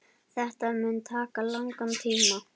Þetta mun taka langan tíma.